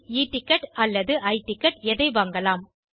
e ticket அல்லது I ticketஎதை வாங்கலாம்